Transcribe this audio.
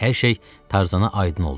Hər şey Tarzana aydın oldu.